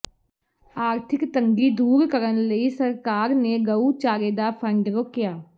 ਆਰਥਿਕ ਤੰਗੀ ਦੂਰ ਕਰਨ ਲਈ ਸਰਕਾਰ ਨੇ ਗਊ ਚਾਰੇ ਦਾ ਫੰਡ ਰੋਕਿਆ